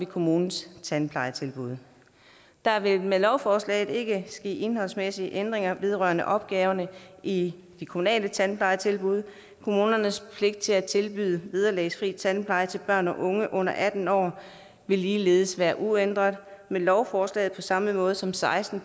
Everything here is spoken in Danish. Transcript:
kommunens tandplejetilbud der vil med lovforslaget ikke ske indholdsmæssige ændringer vedrørende opgaverne i de kommunale tandplejetilbud kommunernes pligt til at tilbyde vederlagsfri tandpleje til børn og unge under atten år vil ligeledes være uændret med lovforslaget på samme måde som seksten